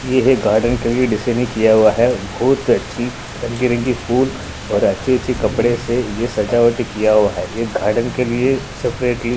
ये है गार्डन के लिए डिसने किया हुआ है बहुत अच्छी रंगी-रंगी फूल और अच्छे-अच्छे कपड़े से ये सजावट किया हुआ है ये गार्डन के लिए सेपरेटली --